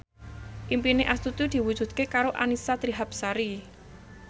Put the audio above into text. impine Astuti diwujudke karo Annisa Trihapsari